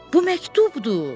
Bu məktubdur!